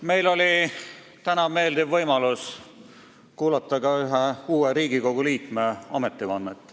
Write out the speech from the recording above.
Meil oli täna meeldiv võimalus kuulata ka ühe uue liikme ametivannet.